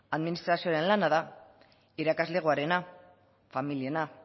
administrazioaren lana da irakaslegoarena familiarena